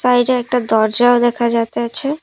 বাইরে একটা দরজাও দেখা যাতেছে।